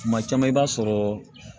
Kuma caman i b'a sɔrɔ